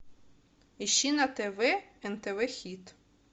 ищи на тв нтв хит